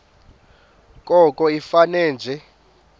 koko ifane nje